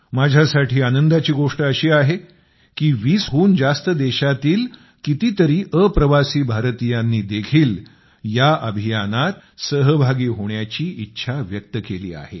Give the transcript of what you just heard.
माझ्यासाठी आनंदाची गोष्ट अशी आहे की 20 हून जास्त देशातील कितीतरी अप्रवासी भारतीयांनी देखील ह्या अभियानात सहभागी होण्याची इच्छा व्यक्त केली आहे